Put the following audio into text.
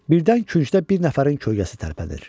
Birdən küncdə bir nəfərin kölgəsi tərpənir.